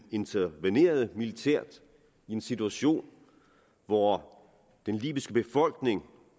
intervenerede militært i en situation hvor den libyske befolkning